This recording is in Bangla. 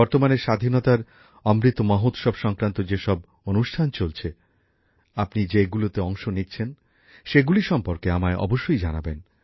বর্তমানে স্বাধীনতার অমৃত মহোৎসব সংক্রান্ত যেসব অনুষ্ঠান চলছে আপনি যেগুলিতে অংশ নিচ্ছেন সেগুলি সম্পর্কে আমায় অবশ্যই জানাবেন